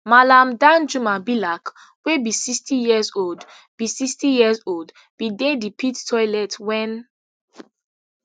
mallam danjuma bilack wey be sixtyyearsold be sixtyyearsold bin dey di pit toilet wen